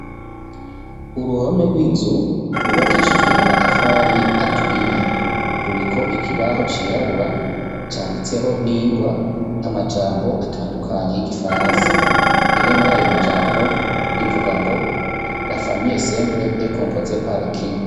Uruhome rw'inzu rwubakishijwe amatafari aturiye ruriko ikibaho cirabura canditseho n'ingwa amajambo atandukanye y'igifaransa rimwe muri ayo majambo rivuga ngo rafamiye sempure eko mpoze parki.